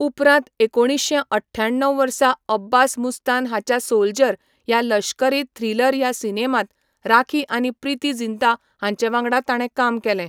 उपरांत एकुणीश्शें अठ्याण्णव वर्सा अब्बास मुस्तान हाच्या 'सोल्जर' ह्या लश्करी थ्रिलर ह्या सिनेमांत राखी आनी प्रीती जिंता हांचे वांगडा ताणें काम केलें.